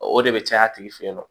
O de bɛ caya a tigi fɛ yen nɔ